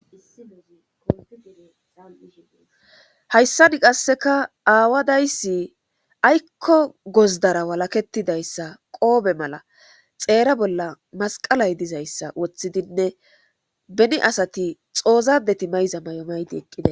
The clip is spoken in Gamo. Hayssan qaasikka aawa dayssi aykko gozddara walakettidayssa qoofe mala xeera bolla masqalay dizayssa woththidinne beni asati xoozaddeti mayiza mayo mayidi eqqides.